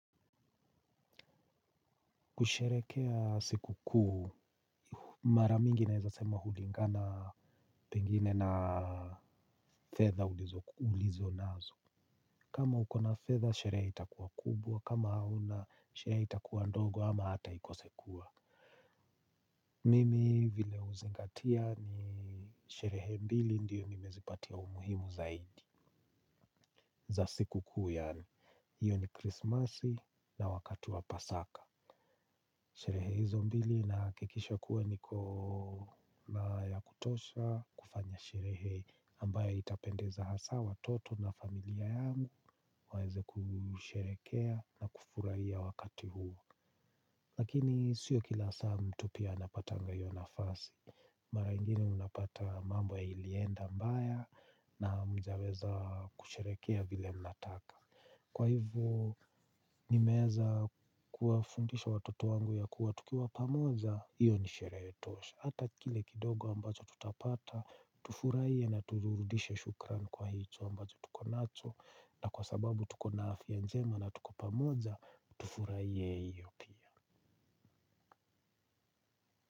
Kusherehekea sikukuu, mara mingi naeza sema hulingana pengine na fedha ulizonazo. Kama ukona fedha, sherehe itakuwa kubwa, kama hauna, sherehe itakuwa ndogo ama hata ikose kuwa. Mimi vile huzingatia ni sherehe mbili ndiyo nimezipatia umuhimu zaidi za sikukuu yaani hiyo ni Christmas na wakati wa Pasaka. Sherehe hizo mbili nahakikisha kuwa nikona ya kutosha kufanya sherehe ambayo itapendeza hasa watoto na familia yangu waeze kusherehekea na kufurahiya wakati huo. Lakini sio kila saa mtu pia anapatanga hiyo nafasi. Mara ingine unapata mambo ilienda mbaya na hamjaweza kusherehekea vile mnataka. Kwa hivyo, nimeweza kuwafundisha watoto wangu ya kuwa tukiwa pamoja, hiyo ni sherehe tosha. Hata kile kidogo ambacho tutapata, tufurahie na turudishe shukrani kwa hicho ambacho tukonacho. Na kwa sababu tukona afya njema na tuko pamoja, tufurahie hiyo pia.